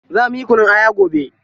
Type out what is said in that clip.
Za muyi kunun aya gobe.